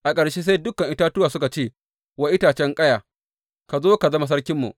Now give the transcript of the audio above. A ƙarshe sai dukan itatuwa suka ce wa itacen ƙaya, Ka zo ka zama sarkinmu.’